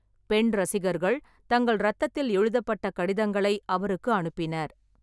பெண் ரசிகர்கள் தங்கள் இரத்தத்தில் எழுதப்பட்ட கடிதங்களை அவருக்கு அனுப்பினர்.